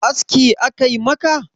aski a Kai maka?